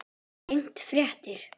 Tengd frétt